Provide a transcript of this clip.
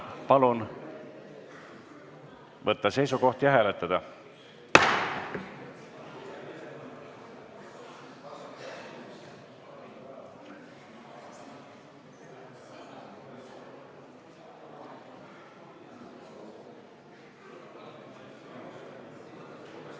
Palun võtta seisukoht ja hääletada!